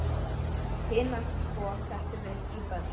Hina tvo settum við í bönd.